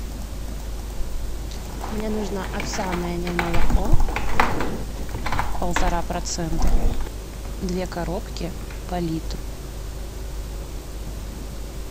мне нужно овсяное немолоко полтора процента две коробки по литру